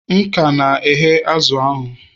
M ka na-ehe azụ̀ ahụ